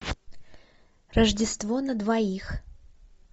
рождество на двоих